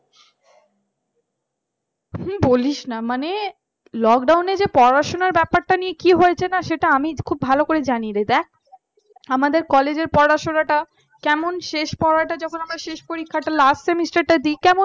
বলিস না মানে lockdown যে পড়াশোনা ব্যাপারটা নিয়ে কি হয়েছে না সেটা আমি খুব ভালো করে জানি রে দেখ আমাদের college পড়াশোনাটা কেমন শেষ পরাটা যখন আমরা শেষ পরীক্ষা টা last semester টা দিই